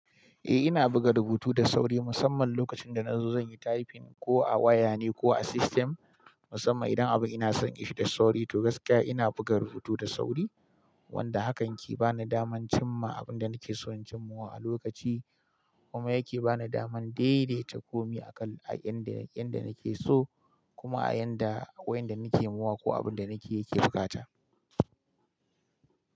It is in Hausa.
Eh ina buga rubutu da sauri musamman lokacin da na zo zan yi typing ko a waya ne ko a system musamman idan abun ina son ishe da sauri to gaskiya ina buga rubutu da sauri wanda hakan ke bani daman, cimma abunda nakeso na cimmawa a lokaci, kuma yake bani daman daidaita komi yanda nakeso kuma a yanda wainda nake mawa ko abunda nakeyi yake bukata.